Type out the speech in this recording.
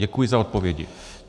Děkuji za odpovědi.